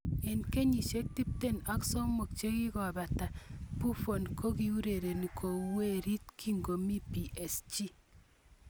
Eng kenyisiek tipten ak somok chekikobata Buffon kokiureren kou werit kikomi PSG